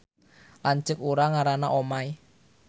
Lanceuk urang ngaranna Omay